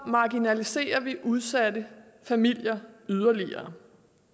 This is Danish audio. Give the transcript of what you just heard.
marginaliserer vi udsatte familier yderligere